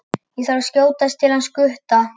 Ég þarf að skjótast til hans Gutta.